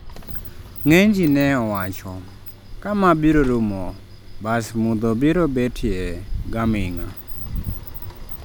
ng'eny gi ne owacho, ka ma biro rumo, bas mudho biro betie ga ming'a